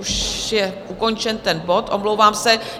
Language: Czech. Už je ukončen ten bod, omlouvám se.